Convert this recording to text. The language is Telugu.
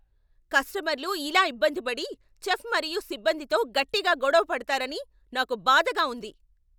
కస్టమర్లు ఇలా ఇబ్బంది పడి, చెఫ్ మరియు సిబ్బందితో గట్టిగా గొడవ పడతారని నాకు బాధగా ఉంది.